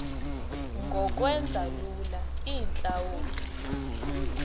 ngokwenza lula iintlawulo